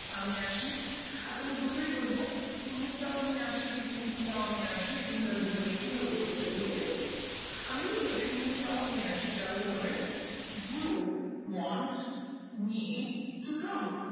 আমি আসি? আচ্ছা আমি দুটোই বলবো তুমি চাও আমি আসি কি তুমি কি চাও আমি আসি এটা আমরা দু ভাবে কিভাবে বলতে পারি okay আমি যদি বলি তুমি চাও আমি আসি তাহলে হবে you want me to come